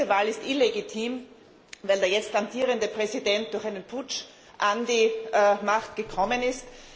Diese Wahl ist illegitim, weil der jetzt amtierende Präsident durch einen Putsch an die Macht gekommen ist.